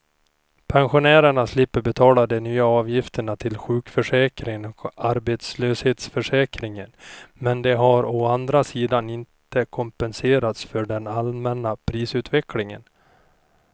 Pensionärerna slipper betala de nya avgifterna till sjukförsäkringen och arbetslöshetsförsäkringen, men de har å andra sidan inte kompenserats för den allmänna prisutvecklingen.